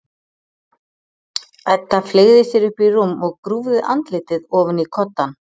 Edda fleygði sér upp í rúm og grúfði andlitið ofan í koddann.